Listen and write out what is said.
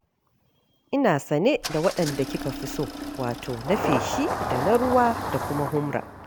Ina sane da waɗanda kika fi so: wato na feshi da na ruwa da kuma humra.